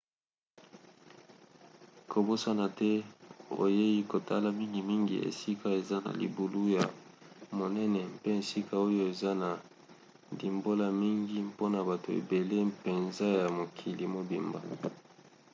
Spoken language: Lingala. kobosana te oyei kotala mingimingi esika eza na libulu ya monene mpe esika oyo eza na ndimbola mingi mpona bato ebele mpenza ya mokili mobimba